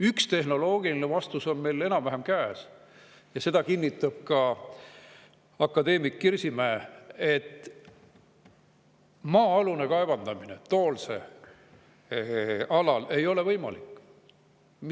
Üks tehnoloogiline vastus on meil enam-vähem käes ja seda kinnitab ka akadeemik Kirsimäe: maa-alune kaevandamine Toolse alal ei ole võimalik.